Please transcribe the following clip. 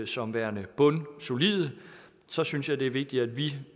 som værende bundsolide og så synes jeg det er vigtigt at vi